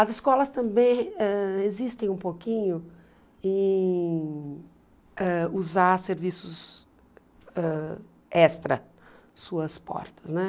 As escolas também ãh resistem um pouquinho em ãh usar serviços ãh extra, suas portas, né?